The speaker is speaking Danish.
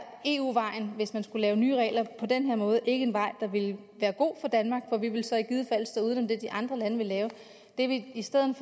eu vejen hvis man skulle lave nye regler på den måde ikke være en vej der ville være god for danmark for vi ville så i givet fald stå uden for det de andre lande ville lave det vi i stedet